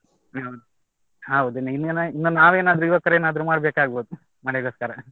ಹ್ಮ್‌ ಹೌದು ಇನ್ನು ಇನ್ನು ನಾವೇನಾದ್ರೂ ಯುವಕರು ಏನಾದ್ರೂ ಮಾಡಬೇಕಾಗ್ಬೋದು ಮಳೆ ಗೋಸ್ಕರ.